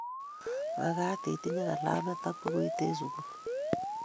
mekat itinye kalamit ak bukuit eng' sukul